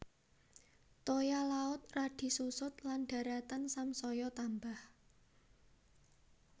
Toya laut radi susut lan daratan samsaya tambah